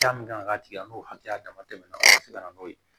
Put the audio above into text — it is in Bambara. Hakɛya min kan ka tigɛ n'o hakɛya dama tɛmɛ na o ka se ka na n'o ye